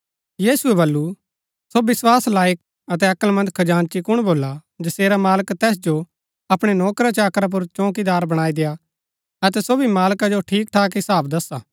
यीशुऐ बल्लू सो विस्वास लायक अतै अक्‍लमंद खजांची कुण भोला जसेरा मालक तैस जो अपणै नोकराचाकरा पुर चौंकीदार बणाई देआ अतै सो भी मालका जो ठीकठीक हिसाब दसा